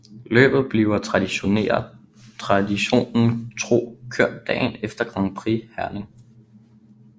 Løbet bliver traditionen tro kørt dagen efter Grand Prix Herning